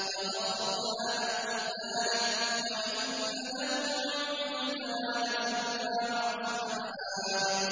فَغَفَرْنَا لَهُ ذَٰلِكَ ۖ وَإِنَّ لَهُ عِندَنَا لَزُلْفَىٰ وَحُسْنَ مَآبٍ